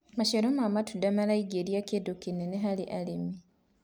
maciaro ma matunda maraingiria kĩndu kĩnene harĩ arĩmi